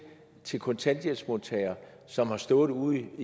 til kontanthjælpsmodtagere som har stået uden